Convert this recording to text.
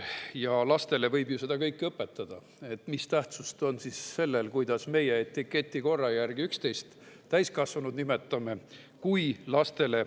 Kui lastele võib seda kõike õpetada ja selline asi on justkui teaduslik, siis mis tähtsust on sellel, kuidas me etiketi järgi üksteist, täiskasvanuid, nimetame.